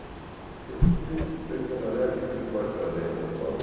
Falei, se o sujeito bem trabalhar, o que ele pode fazer em São Paulo?